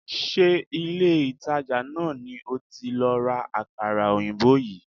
Ṣé ilé-ìtàjà náà ni o ti lọ ra àkàrà òyìnbó yìí?